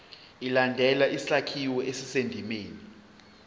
ilandele isakhiwo esisendimeni